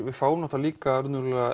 við fáum líka